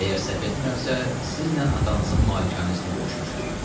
Əgər səhv etmirəmsə, sizlə atanızın malikanəsində görüşmüşdük.